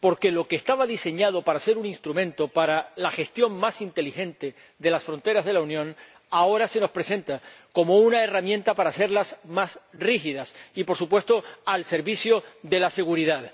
Porque lo que estaba diseñado para ser un instrumento para la gestión más inteligente de las fronteras de la Unión, ahora se nos presenta como una herramienta para hacerlas más rígidas y, por supuesto, al servicio de la seguridad.